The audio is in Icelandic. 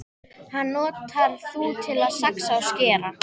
Hann notar þú til að saxa og skera.